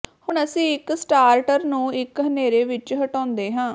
ਹੁਣ ਅਸੀਂ ਇਕ ਸਟਾਰਟਰ ਨੂੰ ਇੱਕ ਹਨੇਰੇ ਵਿੱਚ ਹਟਾਉਂਦੇ ਹਾਂ